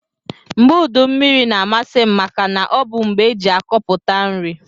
Mgbe udu mmiri na amasim maka na ọbu mgbe eji akọpụta nri.